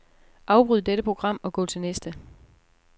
Afbryd dette program og gå til næste.